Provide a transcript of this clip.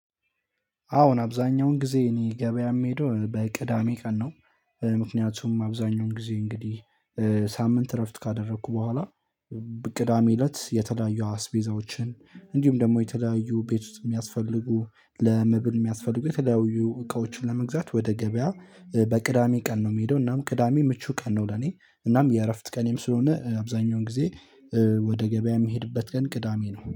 አዎን አብዛኛውን ጊዜ እኜ ገበያ የምሄደው በቅዳሜ ቀን ነው። ምክንያቱም አብዛኛውን ጊዜ እንግዲህ ሳምንት እረፍት ካደረኩ በኋላ። ቅዳሜ ለት የተለያዩ አስቤዛዎችን አንዲሁም ደግሞ የተለያዩ ቤት ውስጥ ሚያስፈልጉ ለመብል የሚያስፈልጉ የተለያዩ እቃዎችን ለመግዛት ወደ ገበያ በቅዳሜ ቀን ነው። ምሄደው ቅዳሜ ምቹ ቀን ነው ለኔ። እናም የእረፍት ቀኔም ስለሆነ አብዛኛውን ጊዜ ወደ ገበያ የሚሄድበት ቀን ቅዳሜ ነው